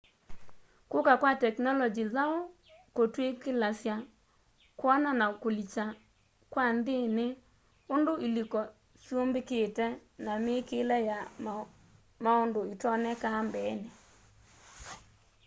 kuka kwa tekinolongyi nzau kutwikilasya kwona na kulilya kwa nthini undu iliko syumbikite na miikile ya maundu itaoneka mbeeni